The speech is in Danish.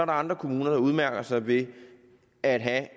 andre kommuner der udmærker sig ved at have